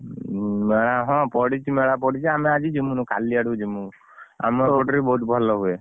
ମେଳା ହଁ ପଡିଛି ମେଳା ଆମେ ଆଜି ଜିମୁନୁ କାଲି ଆଡକୁ ଯିମୁ। ଆମେ ଏଇପଟରେ ବି ବହୁତ ଭଲ ହୁଏ।